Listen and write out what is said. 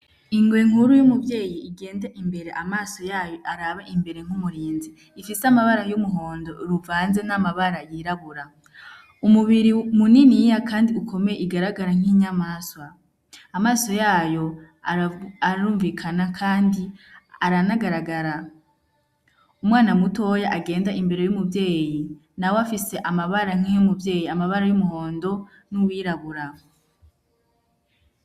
Ingwe nkuru y'umubyeyi igenda imbere amaso yayo araba imbere nk'umurinzi ifise amabara y'umuhondo ruvanze n'amabara yirabura umubiri muniniya, kandi ukomeye igaragara nk'inyamaswa amaso yayo arumvikana, kandi aranagaragara umwana mutoya agenda imbere y'umubyeyi nawe afise amabara nkay'umuvyeyi amabara y'umuhondo n'uwirabura.